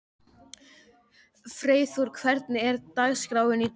Freyþór, hvernig er dagskráin í dag?